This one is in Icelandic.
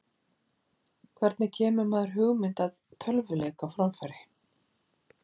Hvernig kemur maður hugmynd að tölvuleik á framfæri?